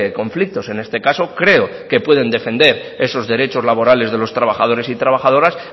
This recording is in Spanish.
conflictos en este caso creo que pueden defender esos derechos laborales de los trabajadores y trabajadoras